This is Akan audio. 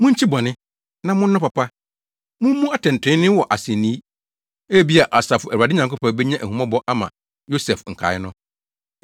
Munkyi bɔne, na monnɔ papa; Mummu atɛntrenee wɔ asennii. Ebia, Asafo Awurade Nyankopɔn benya ahummɔbɔ ama Yosef nkae no.